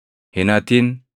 Hin hatin.